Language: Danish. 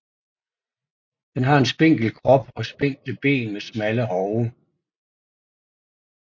Den har en spinkel krop og spinkle ben med smalle hove